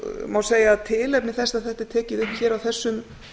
má segja tilefni þess að þetta er tekið upp hér á þessum